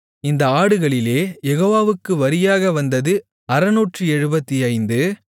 இந்த ஆடுகளிலே யெகோவாவுக்கு வரியாக வந்தது 675